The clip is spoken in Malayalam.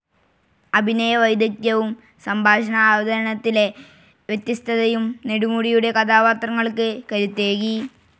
അഭിനയ വൈദഗ്ദ്ധ്യവും സംഭാഷണ അവതരണത്തിലെ വ്യത്യസ്തതയും നെടുമുടിയുടെ കഥാപാത്രങ്ങൾക്ക് കരുത്തേകി.